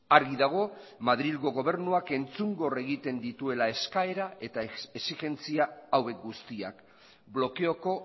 argi dago madrilgo gobernuak entzungor egiten dituela eskaera eta exigentzia hauek guztiak blokeoko